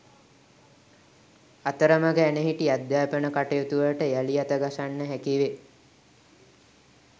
අතරමඟ ඇනහිටි අධ්‍යාපන කටයුතුවලට යළි අත ගසන්න හැකිවේ